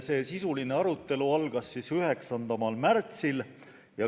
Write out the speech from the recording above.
Sisuline arutelu algas 9. märtsil.